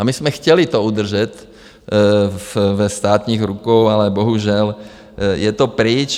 A my jsme to chtěli udržet ve státních rukou, ale bohužel je to pryč.